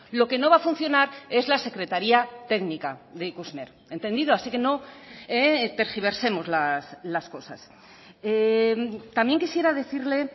lo que no va a funcionar es la secretaría técnica de ikusmer entendido así que no tergiversemos las cosas también quisiera decirle